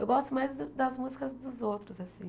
Eu gosto mais da das músicas dos outros, assim.